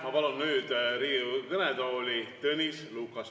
Ma palun nüüd Riigikogu kõnetooli Tõnis Lukase.